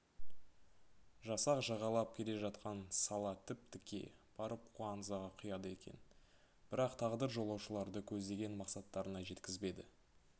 жасақ жағалап келе жатқан сала тіп-тіке барып куанзаға құяды екен бірақ тағдыр жолаушыларды көздеген мақсаттарына жеткізбеді